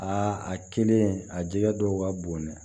Aa a kelen a jɛgɛ dɔw ka bon dɛ